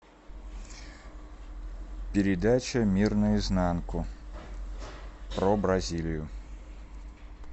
передача мир наизнанку про бразилию